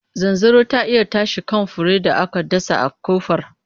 Zanzaro ta iya tashi kan furen da aka dasa a kofar.